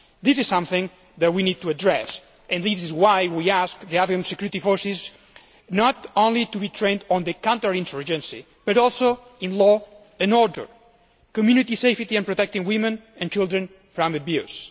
This is something which we need to address and this is why we ask the Afghan security forces not only to be trained in counter insurgency but also in law and order, community safety and protecting women and children from abuse.